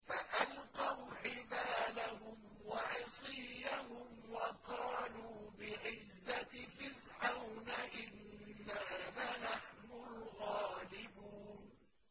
فَأَلْقَوْا حِبَالَهُمْ وَعِصِيَّهُمْ وَقَالُوا بِعِزَّةِ فِرْعَوْنَ إِنَّا لَنَحْنُ الْغَالِبُونَ